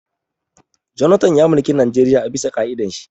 Jonathan ya mulki Najeriya a bisa ƙa'idan shi